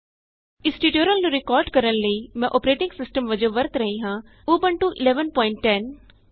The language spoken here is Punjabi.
ਇਸ ਟਯੂਟੋਰਿਅਲ ਨੂੰ ਰਿਕਾਰਡ ਕਰਨ ਲਈ ਮੈਂ ਅੋਪਰੇਟਿੰਗ ਸਿਸਟਮ ਵਜੋਂ ਵਰਤ ਰਹੀ ਹਾਂ ਉਬੰਟੂ 1110